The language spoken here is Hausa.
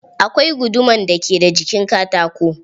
Akwai guduman da ke da jikin katako.